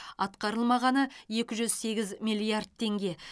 атқарылмағаны екі жүз сегіз миллиард теңге